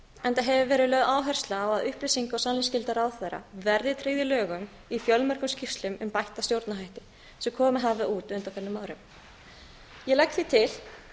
enda hefur verið lögð áhersla á að upplýsinga og sannleiksskylda ráðherra verði tryggð í lögum í fjölmörgum skýrslum um bætta stjórnarhætti sem komið hafa út á undanförnum árum ég legg því til